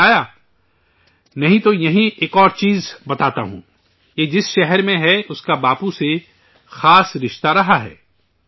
کچھ دھیان آیا نہیں تو یہیں ایک اور چیز بتاتا ہوں یہ جس شہر میں ہے، اس کا باپو سے مخصوصی ناطہ رہا ہے